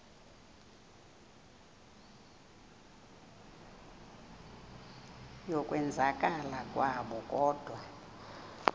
yokwenzakala kwabo kodwa